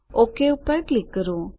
okay પર click કરો